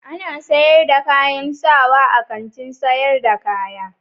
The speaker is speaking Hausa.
Ana sayar da kayan sawa a Kantin sayar da kaya.